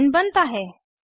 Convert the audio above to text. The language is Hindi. इथेन बनता है